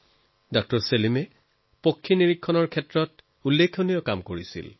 doctor Salim আলিয়ে পক্ষী জগতত চৰাইৰ অনুসন্ধানৰ ক্ষেত্ৰত উল্লেখযোগ্য কাম কৰিছে